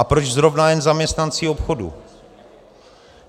A proč zrovna jen zaměstnanci obchodů?